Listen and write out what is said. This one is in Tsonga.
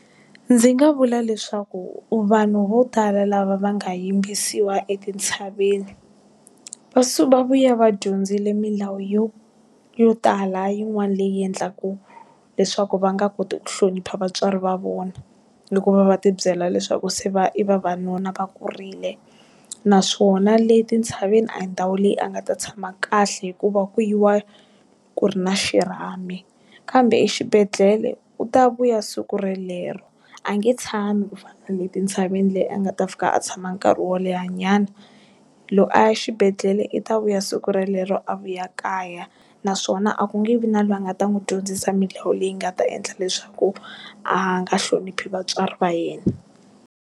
Ndzi nga vula leswaku vanhu vo tala lava va nga yimbisiwa etintshaveni, va va vuya va dyondzile milawu yo yo tala yin'wana leyi endlaka leswaku va nga koti ku hlonipha vatswari va vona, loko va va ti byela leswaku se i vavanuna va kurile. Naswona le tintshaveni a hi ndhawu leyi a nga ta tshama kahle hikuva ku yiwa ku ri na xirhami. Kambe exibedhlele u ta vuya siku relero, a nge tshami ku fana na le tintshaveni le a nga ta fika a tshama nkarhi wo leha nyana. Loko a ya xibedhlele i ta vuya siku relero a vuya kaya. Naswona a ku nge vi na loyi a nga ta n'wi dyondzisa milawu leyi nga ta endla leswaku, a nga hloniphi vatswari va yena.